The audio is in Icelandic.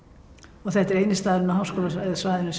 og þetta er eini staðurinn á háskólasvæðinu